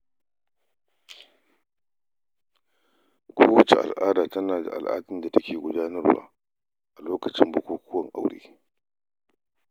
Kowacce al'ada tana da al'adun da take gudanarwa a lokacin bukukuwan aure.